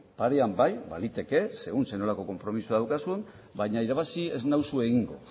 parean bai baliteke segun ze nolako konpromisoa daukazun baina irabazi ez nauzu egingo